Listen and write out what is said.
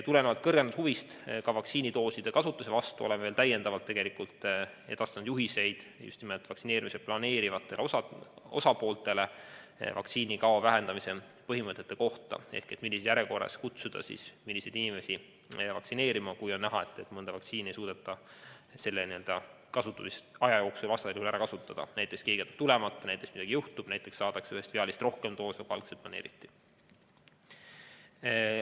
Tulenevalt suurest huvist vaktsiinidooside kasutamise vastu oleme edastanud täiendavad juhised just nimelt vaktsineerimist planeerivatele osapooltele vaktsiinikao vähendamise põhimõtete kohta ehk selle kohta, millises järjekorras ja milliseid inimesi kutsuda vaktsineerima siis, kui on näha, et mõnda vaktsiinidoosi ei suudeta selle kasutamisaja jooksul ära kasutada, näiteks keegi on jätnud tulemata, midagi juhtub, ühest viaalist saadakse rohkem doose, kui algselt planeeriti.